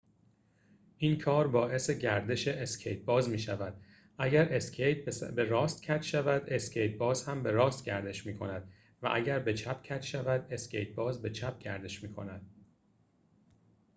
این کار باعث گردش اسکیت‌باز می‌شود اگر اسکیت به راست کج شود اسکیت‌باز هم به راست گردش می‌کند و اگر به چپ کج شود اسکیت‌باز به چپ گردش می‌کند